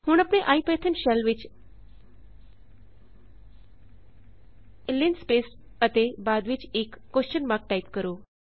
ਹੁਣ ਆਪਣੇ IPython shell ਵਿੱਚ ਲਿੰਸਪੇਸ ਅਤੇ ਬਾਅਦ ਵਿੱਚ ਇਕ ਟਾਇਪ ਕਰੋ